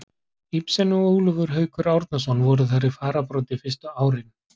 Ibsen og Ólafur Haukur Árnason voru þar í fararbroddi fyrstu árin.